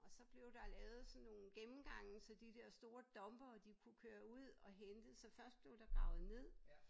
Og så blev der lavet sådan nogle gennemgange så de der store dumpere de kunne køre ud og hentede så først blev der gravet ned